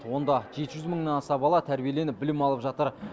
онда жеті жүз мыңнан аса бала тәрбиеленіп білім алып жатыр